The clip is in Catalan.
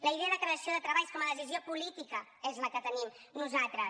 la idea de creació de treballs com a decisió política és la que tenim nosaltres